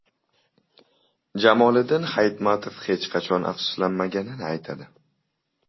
Jamoliddin Hayitmatov hech qachon afsuslanmaganini aytadi.